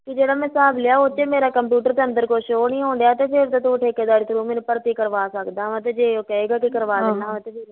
ਵੀ ਜਿਹੜਾ ਮੈਂ ਹਿਸਾਬ ਲਿਆ ਵੀ ਉਹਤੇ ਕੁਛ ਮੇਰਾ computer ਦੇ ਅੰਦਰ ਕੁਛ show ਨੀ ਹੋਣ ਡੀਆ ਤੇ ਫੇਰ ਤਾਂ ਤੂੰ ਮੈਨੂੰ ਠੇਕਦਾਰੀ through ਭਰਤੀ ਕਰਵਾ ਸਕਦਾ ਵਾਂ ਤੇ ਜੇ ਉਹ ਕਹੇਗਾ ਵੀ ਕਰਵਾ ਦਿੰਦਾ ਆਹ